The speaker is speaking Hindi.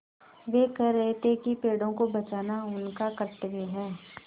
वे कह रहे थे कि पेड़ों को बचाना उनका कर्त्तव्य है